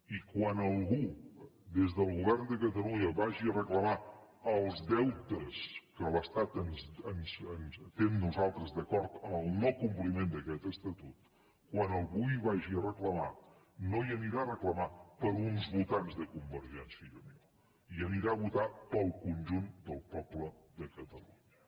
i quan algú des del govern de catalunya vagi a reclamar els deutes que l’estat té nosaltres d’acord amb el no compliment d’aquest estatut quan algú ho vagi a reclamar no ho anirà a reclamar per uns votants de convergència i unió ho anirà a reclamar pel conjunt del poble de catalunya